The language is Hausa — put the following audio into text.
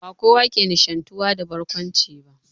Ba kowa ke nishantuwa da barkwanci ba